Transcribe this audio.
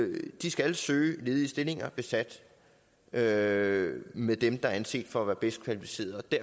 de skal søge ledige stillinger besat med med dem der er anset for at være bedst kvalificerede det